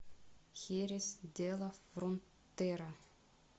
херес де ла фронтера